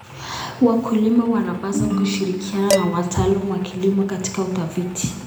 Wakulima wanapaswa kushirikiana na wataalamu wa kilimo katika utafiti.